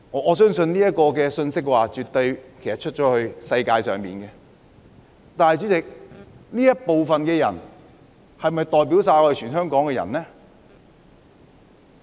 我相信這信息絕對已向世界傳達了，但主席，這部分的人是否代表香港全部人呢？